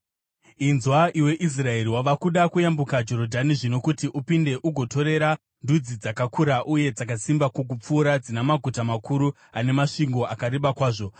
Inzwa, iwe Israeri. Wava kuda kuyambuka Jorodhani zvino kuti upinde ugotorera ndudzi dzakakura uye dzakasimba kukupfuura, dzina maguta makuru ane masvingo akareba kwazvo.